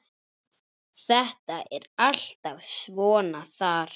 Þetta er alltaf svona þar.